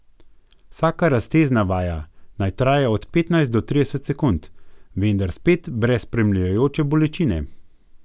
Vsaka raztezna vaja naj traja od petnajst do trideset sekund, vendar spet brez spremljajoče bolečine.